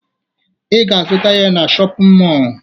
Ị ga-azụta ya na shọpịn mọọ